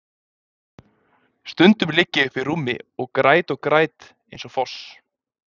Stundum ligg ég uppi í rúmi og græt og græt eins og foss.